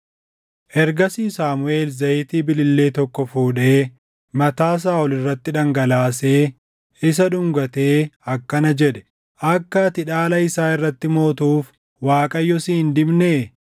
Ergasii Saamuʼeel zayitii bilillee tokko fuudhee mataa Saaʼol irratti dhangalaasee isa dhungatee akkana jedhe; “Akka ati dhaala isaa irratti mootuuf Waaqayyo si hin dibnee?